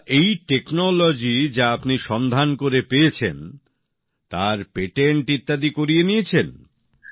আচ্ছা এই প্রযুক্তি যা আপনি সন্ধান করে পেয়েছেন তার পে্টেন্ট ইত্যাদি করিয়ে নিয়েছেন